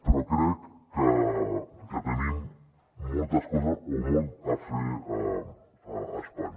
però crec que tenim moltes coses o molt a fer a espanya